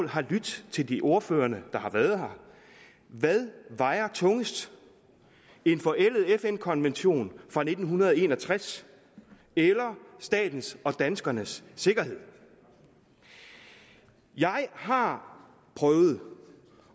har lydt til de ordførere der har været her hvad vejer tungest en forældet fn konvention fra nitten en og tres eller statens og danskernes sikkerhed jeg har prøvet